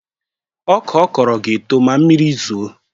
Ọka ọ kọrọ ga-eto ma mmiri zoo